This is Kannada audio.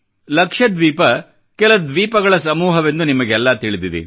ಲಕ್ಷದ್ವೀಪ ಕೆಲ ದ್ವೀಪಗಳ ಸಮೂಹವೆಂದು ನಿಮಗೆಲ್ಲಾ ತಿಳಿದಿದೆ